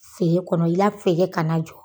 Fee kɔnɔ i la fee kana na jɔ.